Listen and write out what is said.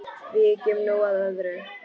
Víkjum nú að öðru.